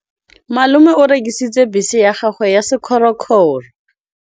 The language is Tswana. Malome o rekisitse bese ya gagwe ya sekgorokgoro.